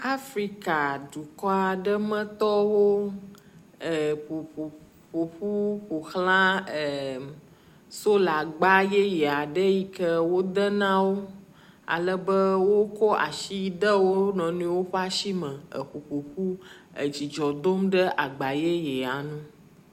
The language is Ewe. Afrika dukɔ aɖe metɔwo eƒo ƒo ƒoƒu ƒo xla eee solagba yeye aɖe yi ke wode na wo. Ale be wokɔ asi de wo nɔnɔewo ƒe asi me eƒo ƒoƒu dzidzɔ dom ɖe agba yeyea ŋu